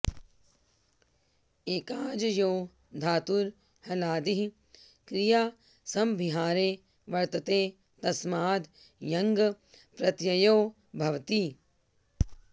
एकाज् यो धातुर् हलादिः क्रियासमभिहारे वर्तते तस्माद् यङ् प्रत्ययो भवति